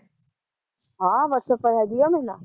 ਹਾਂ ਵਟਸਐਪ ਪਰ ਹੈਗੀ ਐ ਮੇਰੇ ਨਾਲ਼